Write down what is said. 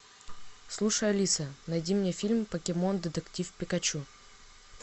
слушай алиса найди мне фильм покемон детектив пикачу